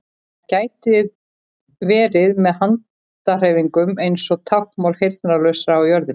Það gæti verið með handahreyfingum eins og táknmáli heyrnarlausra á jörðinni.